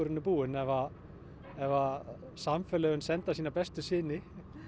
er búinn ef ef að samfélagið sendir sína bestu syni